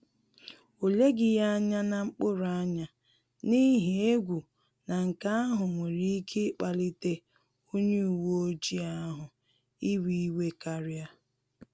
Ọ leghi ya anya na mkpuru anya, n’ihi egwu na nke ahụ nwere ike ịkpalite onye uweojii ahụ iwe iwe karia